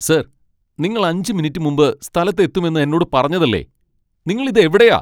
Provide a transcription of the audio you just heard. Sir, നിങ്ങൾ അഞ്ച് minute മുമ്പ് സ്ഥലത്തു എത്തുമെന്ന് എന്നോട് പറഞ്ഞതല്ലേ . നിങ്ങൾ ഇത് എവിടെയാ?